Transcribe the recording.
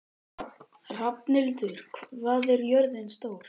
Rafnhildur, hvað er jörðin stór?